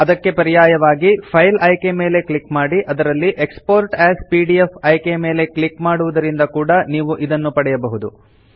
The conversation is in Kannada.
ಅದಕ್ಕೆ ಪರ್ಯಾಯವಾಗಿ ಫೈಲ್ ಆಯ್ಕೆ ಮೇಲೆ ಕ್ಲಿಕ್ ಮಾಡಿ ಅದರಲ್ಲಿ ಎಕ್ಸ್ಪೋರ್ಟ್ ಎಎಸ್ ಪಿಡಿಎಫ್ ಆಯ್ಕೆ ಮೇಲೆ ಕ್ಲಿಕ್ ಮಾಡುವುದರಿಂದ ಕೂಡ ನೀವು ಇದನ್ನು ಮಾಡಬಹುದು